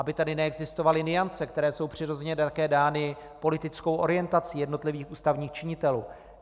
Aby tady neexistovaly nuance, které jsou přirozeně také dány politickou orientací jednotlivých ústavních činitelů.